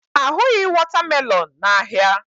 A hụghị watermelon n'ahịa.